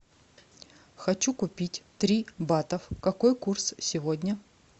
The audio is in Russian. хочу купить три батов какой курс сегодня